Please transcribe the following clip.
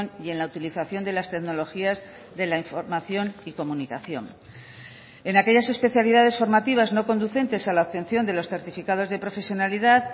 y en la utilización de las tecnologías de la información y comunicación en aquellas especialidades formativas no conducentes a la obtención de los certificados de profesionalidad